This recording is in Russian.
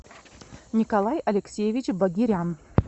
николай алексеевич багирян